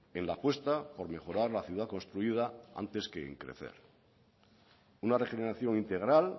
en la apuesta por mejorar la ciudad construida antes que en crecer una regeneración integral